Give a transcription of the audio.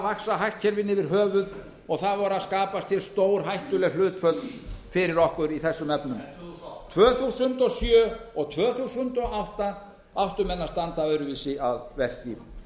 vaxa hagkerfinu yfir höfuð og það voru að skapast stórhættuleg hlutföll fyrir okkur í þessum efnum tvö þúsund og sjö og tvö þúsund og átta áttu menn að standa öðruvísi að verki